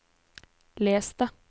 les det